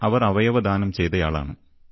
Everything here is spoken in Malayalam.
അവർ അവയവദാനം ചെയ്തയാളാണ്